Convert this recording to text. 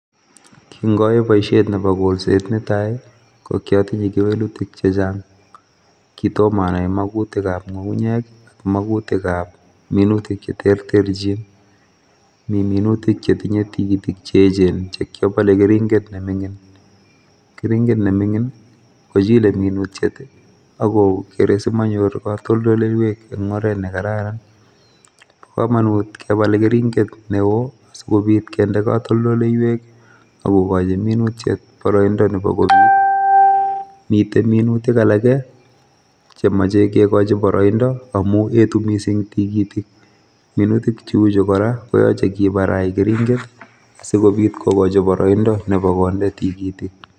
Kin oyoe boishiet Nebo kolset netai, kokiotindoi keweluutik chechang, kitom anai makuutik ab ngungunyek i,makuutik ab minutia cheterterchin, mi minutik chetinye tigitik che echen, cheingebal keringet nemingiin, kochile minutiet sikomonyoor kotoltoleiwek en oret nekararan. Bo komonut kebal keringet neo, asikobiit kinde katoltoleiwek I,akokochi minutiet boroindo Nebo konyoo. Miten minutik alak chemoche kikochi boroindo amun yetuu missing tigitiik. Minutik cheuchu kora koyache kibarai keringet asikobiit kokochi boroindo Nebo konde tigitiik